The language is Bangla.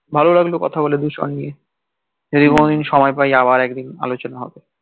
ভালো লাগলো কথা বলে দূষণ নিয়ে যদি কোনো দিন সময় পাই আবার একদিন আলোচনা হবে